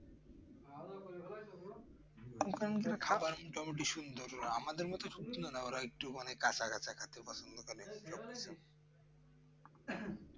মোটামুটি খাবারটা মোটামুটি সুন্দর ওটা আমাদের মতো সবজি ও না ওরা একটু মানে কাচা কাচা খেতে পছন্দ করে